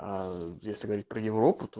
аа если говорить про европу то